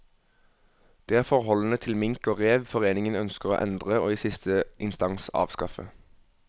Det er forholdene til mink og rev foreningen ønsker å endre og i siste instans avskaffe.